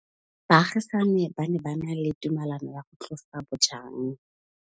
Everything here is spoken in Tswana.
Baagisani ba ne ba na le tumalanô ya go tlosa bojang.